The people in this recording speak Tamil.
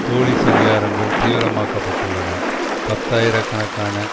போலிஸ் அதிகாரங்கள் தீவிரமாக்கப்பட்டுள்ளன பத்தாயிர கணக்கான